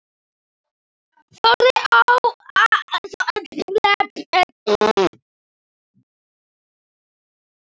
Þorði að láta allt flakka.